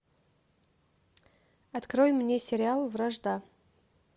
открой мне сериал вражда